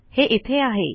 हे इथे आहे